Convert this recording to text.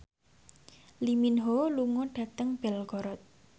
Lee Min Ho lunga dhateng Belgorod